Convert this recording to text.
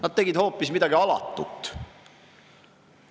Nad tegid hoopis midagi alatut.